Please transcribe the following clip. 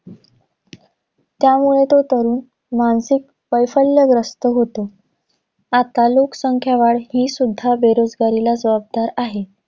त्यामुळे, तो तरुण मानसिक वैफल्यग्रस्त होतो. आता लोकसंख्या वाढ ही सुद्धा बेरोजगारीला जबाबदार आहे.